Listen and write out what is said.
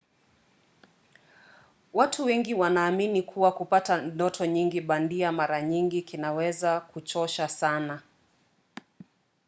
watu wengine wanaamini kuwa kupata ndoto nyingi bandia mara nyingi kunaweza kuchosha sana